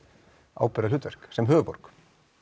ábyrgðarhlutverk sem höfuðborg